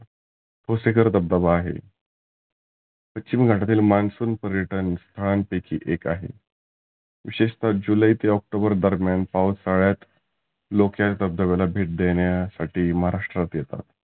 बोसेकर धबधबा आहे. पश्चिम घाटातील मान्सुन पर्यटन स्थळांपैकी एक आहे. विशेषतः जुलै ते ऑक्टोबर दरम्यान पाऊस सगळ्यात लोक या धबधब्याला भेटदेण्यासाठी महाराष्ट्रात येतात.